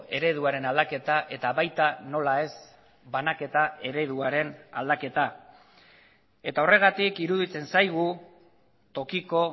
ereduaren aldaketa eta baita nola ez banaketa ereduaren aldaketa eta horregatik iruditzen zaigu tokiko